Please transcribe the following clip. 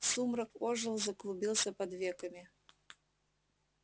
сумрак ожил заклубился под веками